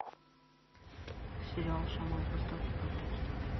сериал шаман поставьте пожалуйста